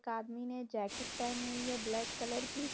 एक आदमी ने जैकेट पहनी हुई है ब्लैक कलर की।